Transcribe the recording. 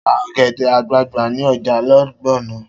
Ta ọ̀gẹ̀dẹ̀ àgbagbà ni ọjà Ìgbònà!